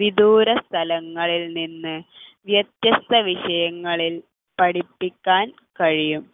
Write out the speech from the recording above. വിദൂരസ്ഥലങ്ങളിൽ നിന്ന് വ്യത്യസ്ത വിഷയങ്ങളിൽ പഠിപ്പിക്കാൻ കഴിയും